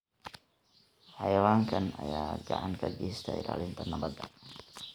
Xayawaankan ayaa gacan ka geysta ilaalinta nabadda.